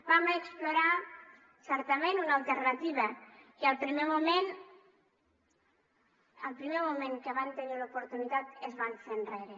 vam explorar certament una alternativa i al primer moment al primer moment que en van tenir l’oportunitat es van fer enrere